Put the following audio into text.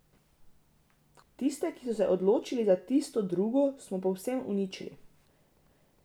Tiste, ki so se odločili za tisto drugo, smo povsem uničili.